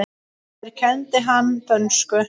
Mér kenndi hann dönsku.